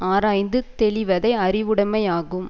ஆராய்ந்து தெளிவதே அறிவுடைமையாகும்